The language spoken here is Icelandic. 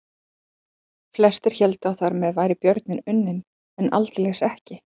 Flestir héldu að þar með væri björninn unninn en aldeilis ekki.